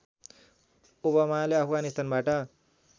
ओबामाले अफगानिस्तानबाट